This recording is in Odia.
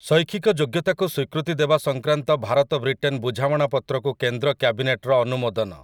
ଶୈକ୍ଷିକ ଯୋଗ୍ୟତାକୁ ସ୍ୱୀକୃତି ଦେବା ସଂକ୍ରାନ୍ତ ଭାରତ ବ୍ରିଟେନ ବୁଝାମଣାପତ୍ରକୁ କେନ୍ଦ୍ର କ୍ୟାବିନେଟର ଅନୁମୋଦନ